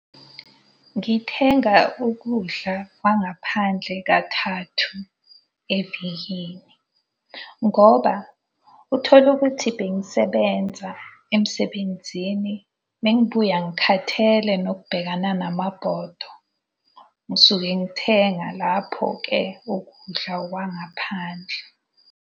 Ngithenga ukudla kwangaphandle kathathu evikini. Ngoba uthole ukuthi bengisebenza emsebenzini, mengibuya ngikhathele nokubhekana namabhodo. Ngisuke ngithenga lapho-ke ukudla kwangaphandle.